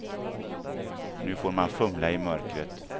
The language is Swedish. Nu får man fumla i mörkret.